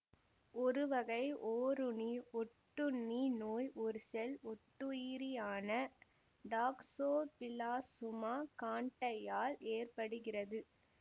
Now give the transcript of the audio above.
ஒருவகை ஓரணு ஒட்டுண்ணி நோய் ஒரு செல் ஒட்டுயிரியான டாக்சோபிளாசுமா காண்ட்டையால் ஏற்படுகிறது